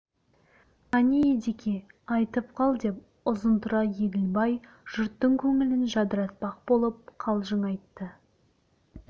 қане едеке айтып қал деп ұзынтұра еділбай жұрттың көңілін жадыратпақ болып қалжың айтты